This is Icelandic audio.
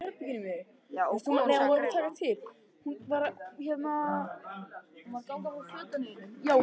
Ein helsta iðja hans var að selja öl á þingum.